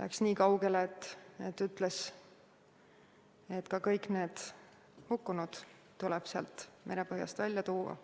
läks isegi niikaugele, et ütles, et kõik need hukkunud tuleb sealt merepõhjast välja tuua.